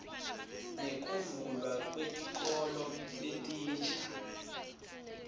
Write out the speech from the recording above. nekuvulwa kwetikolo letinsha